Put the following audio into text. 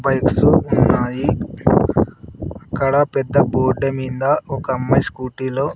bikes ఉన్నాయి అక్కడ పెద్ద బోర్డు మింద ఒకమ్మాయి స్కూటీ లో--